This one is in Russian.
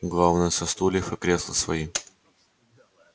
главное со стульев и кресла свои